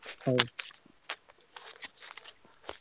ହଉ।